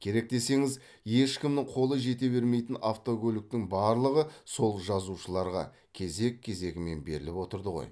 керек десеңіз ешкімнің қолы жете бермейтін автокөліктің барлығы сол жазушыларға кезек кезегімен беріліп отырды ғой